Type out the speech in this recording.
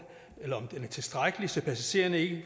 og er tilstrækkelig så passagererne ikke